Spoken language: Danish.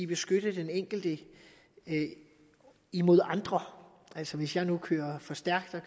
beskytte den enkelte imod andre altså hvis jeg nu kører for stærkt